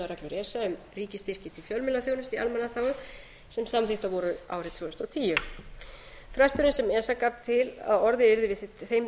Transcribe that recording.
esa um ríkisstyrki til fjölmiðlaþjónustu í almannaþágu sem samþykktar voru árið tvö þúsund og tíu fresturinn sem esa gaf til að orðið yrði við þeim